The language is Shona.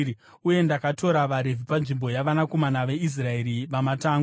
Uye ndakatora vaRevhi panzvimbo yavanakomana veIsraeri vamatangwe.